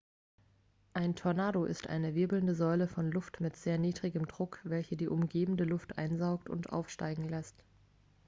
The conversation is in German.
ein tornado ist eine wirbelnde säule von luft mit sehr niedrigem druck welche die umgebende luft einsaugt und aufsteigen lässt